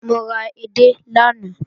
Mo ra edé lánàá